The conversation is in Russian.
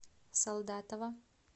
солдатова